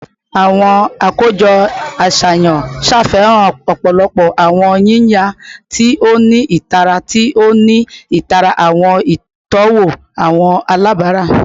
Awọn akojọ aṣayan ṣafihan ọpọlọpọ awọn yiyan ti o ni itara, ti o ni itara awọn itọwo awọn alabara